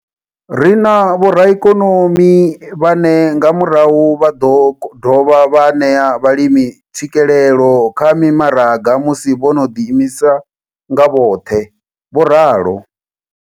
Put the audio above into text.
Ri na vhoraikonomi vhane nga murahu vha ḓo dovha vha ṋea vhalimi tswikelelo kha mimaraga musi vho no ḓiimisa nga vhoṱhe, vho ralo.